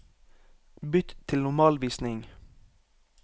Bytt til normalvisning